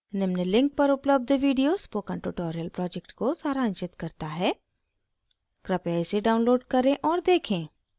निम्न link पर उपलब्ध video spoken tutorial project को सारांशित करता है कृपया इसे download करें और देखें